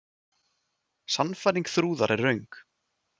Sannfæring Þrúðar er röng.